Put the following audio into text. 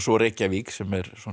Reykjavík sem